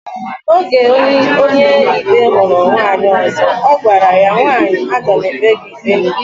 Oge Onyeikpe huru nwaanyi ozo, ogwara ya, nwaanyi agam ekpe ikpe gi